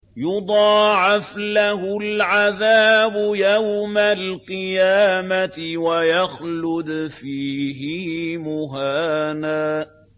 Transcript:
يُضَاعَفْ لَهُ الْعَذَابُ يَوْمَ الْقِيَامَةِ وَيَخْلُدْ فِيهِ مُهَانًا